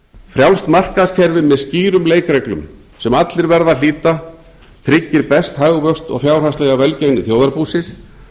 frjálst markaðskerfi með skýrum leikreglum sem allir verða að hlíta tryggir best hagvöxt og fjárhagslega velgengni þjóðarbúsins